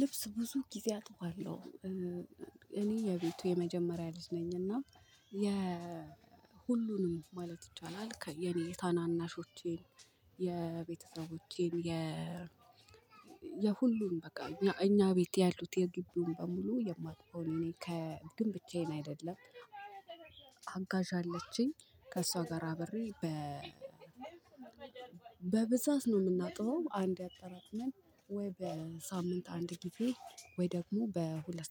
ልብስ ብዙ ጊዜ አጥባለሁ እኔ የቤቱ የመጀመሪያ ልጅ ነኝና የ ሁሉንም ማለት ይቻላል የኔ ታናናሾቼን የቤተሰቦቼን የሁሉን በቃ እኛ ቤት ያሉት የግቢውን በሙሉ የማበው እኔ ነኝ። ግን ብቻዬን አይደለም አጋዥ አለችኝ ከእሷ ጋር አብሬ በብዛት ነው የምናጥበው። አንዴ አጠራቅመን ወይ በሳምንት አንድ ጊዜ ወይ ደግሞ በሁለት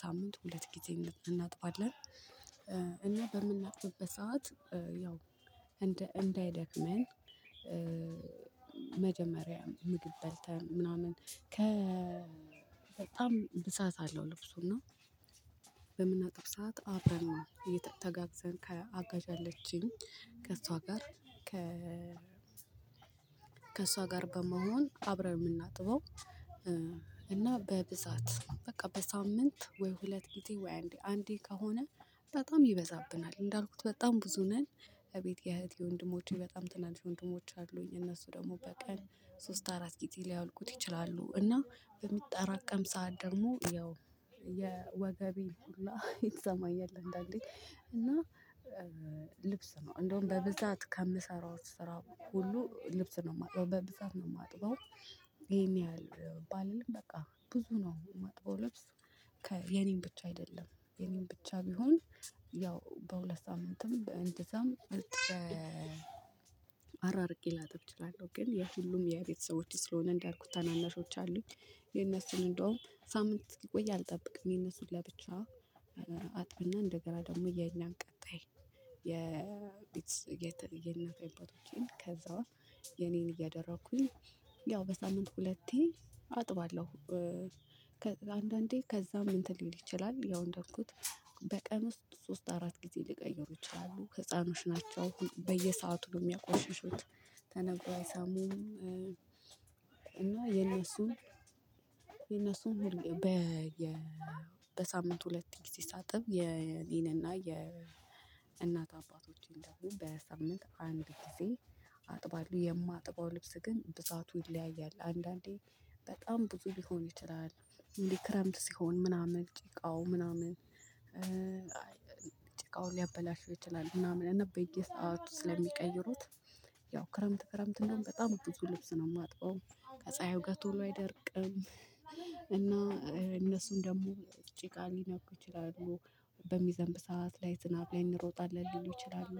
ሳምንት ሁለት ጊዜ እንድናጥባለን። በምናጥብበት ሰዓት ያው እንዳይደክመን። መጀመሪያ ምግብ በልተን ምናምን ከ በጣም ብዛት አለው ልብሱና በምናጠብ ሰዓት አብረን ነው። ተጋግዘን አጋዥ አለችኝ ከእሷ ጋር ከእሷ ጋር በመሆን አብረን የምናጥበው። እና በብዛት በቃ በሳምንት ወይ ሁለት ጊዜ ወይ አንዴ ከሆነ በጣም ይበዛብናል። እንዳልኩት በጣም ብዙ ነን እቤቴ እህቴ ወንድሞቼ በጣም ትናንሽ ወንድሞች አሉኝ እነሱ ደግሞ በቀን ሶስት አራት ጊዜ ሊያወልቁት ይችላሉ። እና በሚጠራቀም ሰዓት ደግሞ ያው የወገቤ ሁሉ ይሰማኛል። እንዳንዴ እና ልብስ ነው እንደውም በብዛት ከምሰራው ስራ ሁሉ ልብስ ነው የማጥበው በብዛት ነው ማጥበው። ይሄን ያህል ባልልም በቃ ብዙ ነው ማጥበው ልብስ። የኔን ብቻ አይደለም የኔን ብቻ ቢሆን ያው በሁለት ሳምንትም እንደዛም አራርቄ ላጥብ እችላለሁ። ግን የሁሉም የቤተሰቦቼ ስለሆነ እንዳልኩት ታናናሾች አሉኝ። የነሱን እንደውም ሳምንት እስኪቆይ አልጠብቅም የነሱ ለብቻ አጥብና እንደገና ደግሞ የኛን ቀጣይ የቤት የኔን እያደረኩኝ ያው በሳምንት ሁለቴ አጥባለሁ። ከአንዳንዴ ከዛም እንትን ሊል ይችላል ያው እንዳልኩት በቀን ውስጥ ሶስት አራት ጊዜ ሊቀይሩ ይችላሉ ህፃኖች ናቸው በየሰአቱ የሚያቆሽሹት ተነግረው አይሰሙም። እና የነሱን የነሱን በሳምንት ሁለት ጊዜ ሳጥብ የኔንና የእናት አባቶችን ደግሞ በሳምንት አንድ ጊዜ አጥባለሁ። የማጥበው ልብስ ግን ብዛቱ ይለያያል አንዳንዴ በጣም ብዙ ሊሆን ይችላል። እንዲህ ክረምት ሲሆን ምናምን ጭቃው ምናምን ጭቃው ሊያበላሽው ይችላል ምናምን እና በየሰአቱ ስለሚቀይሩት ያው ክረምት ክረምት እንደውም በጣም ብዙ ልብስ ነው የማጥበው። ከፀሀዩ ጋር ቶሎ አይደርቅም እና እነሱን ደግሞ ጭቃ ሊነኩ ይችላሉ። በሚዘንብ ሰዓት ላይ ዝናብ ላይ እንሮጣለን ሊሉ ይችላሉ።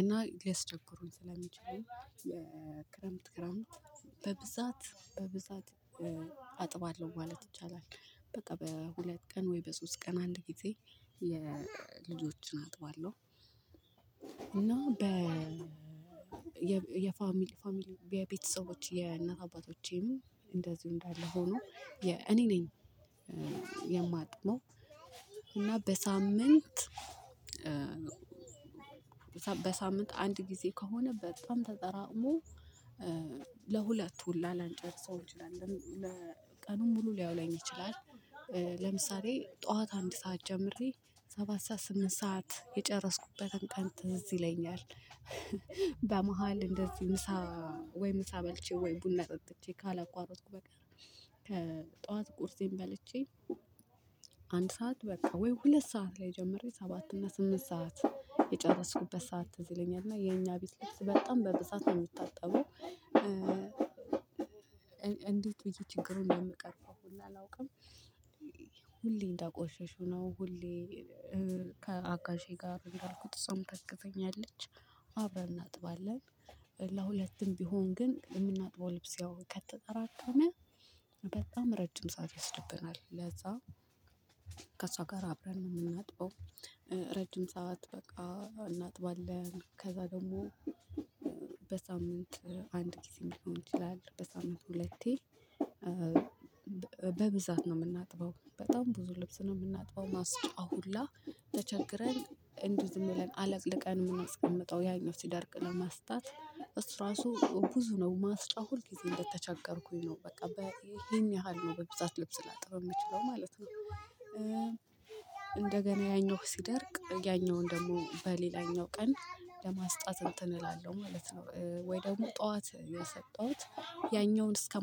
እና ያስቸግሩኝ ስለሚችሉ ክረምት ክረምት በብዛት በብዛት አጥባለሁ ማለት ይቻላል። በቃ በሁለት ቀን ወይ በሶስት ቀን አንድ ጊዜ የልጆችን አጥባለሁ። እና የፋሚሊ ፋሚሊ ቤተሰቦች የእናት አባቶቼም እንደዚሁ እንዳለ ሆኖ እኔ ነኝ። የማጥመው እና በሳምንት በሳምንት አንድ ጊዜ ከሆነ በጣም ተጠራቅሞ ለሁለቱ ላንጨርሰው እንችላለን ለቀኑም ሙሉ ሊያውለኝ ይችላል። ለምሳሌ ጠዋት አንድ ሰዓት ጀምሬ ሰባት ሰዓት ስምንት ሰዓት የጨረስኩበትን ቀን ትዝ ይለኛል። በመሃል እንደዚህ ምሳ ወይ ምሳ በልቼ ወይ ቡና ጠጥቼ ካላቋረጥኩ በቀር ከጠዋት ቁርሴን በልቼ አንድ ሰዓት በቃ ወይ ሁለት ሰዓት ላይ ጀመሬ ሰባት እና ስምንት ሰዓት የጨረስኩበት ሰዓት ትዝ ይለኛል እና የኛ ቤት ልብስ በጣም በብዛት ነው የሚታጠበው። እንዴት ብዬ ችግሩን እንደምቀርፈው ሁላ አላውቅም። ሁሌ እንዳቆሸሹ ነው ሁሌ ከአጋዤ ጋር እንዳልኩት እሷም ታግዘኛለች አብረን እናጥባለን። ለሁለቱም ቢሆን ግን የምናጥበው ልብስ ያው ከተጠራቀመ በጣም ረጅም ሰዓት ይወስድብናል። ለዛ ከሷ ጋር አብረን ነው የምናጥበው። ረጅም ሰዓት በቃ እናጥባለን ከዛ ደግሞ በሳምንት አንድ ጊዜ ሊሆን ይችላል በሳምንት ሁለቴ። በብዛት ነው የምናጥበው በጣም ብዙ ልብስ ነው የምናጥበው። ማስጫ ሁላ ተቸግረን እንዲህ ዝም ብለን አለቅልቀን የምናስቀምጠው ያኛው ሲደርቅ ለማስጣት እሱ ራሱ ብዙ ነው ማስጫ ሁልጊዜ እንደተቸገርኩኝ ነው በቃ ይሄን ያህል ነው በብዛት ልብስ ላጥብ የምችለው ማለት ነው። እንደገና ያኛው ሲደርቅ ያኛውን ደግሞ በሌላኛው ቀን ለማስጣት እንትን እላለሁ ማለት ነው። ወይ ደግሞ ጠዋት የሰጠሁት ያኛውን እስከ